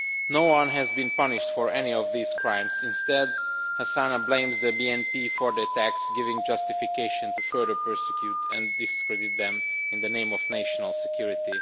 No one has been punished for any of these crimes instead Hasina blames the BNP for the attacks, giving justification for further persecuting and discrediting them in the name of national security.